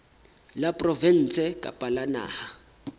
la provinse kapa la naha